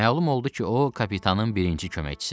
Məlum oldu ki, o kapitanın birinci köməkçisidir.